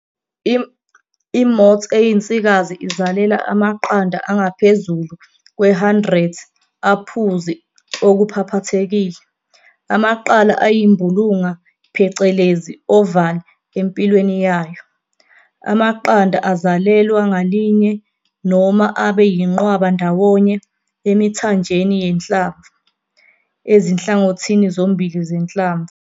I-moths eyinsikazi izalela amaqanda angaphezulu kwe-100 aphuzi okuphaphathekile, amaqala ayimbulunga phecelezi oval empilweni yayo. Amaqanda azalelwa ngalinye noma abe yinqwaba ndawonye emithanjeni yehlamvu ezinhlangothini zombili zehlamvu.